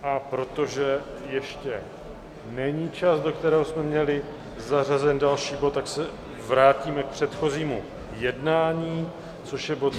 A protože ještě není čas, do kterého jsme měli zařazen další bod, tak se vrátíme k předchozímu jednání, což je bod